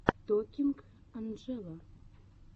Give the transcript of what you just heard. токинг анджела